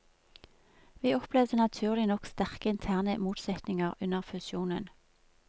Vi opplevde naturlig nok sterke interne motsetninger under fusjonen.